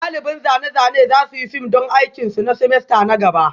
Ɗaliban zane-zane za su yi fim don aikin su na semester na gaba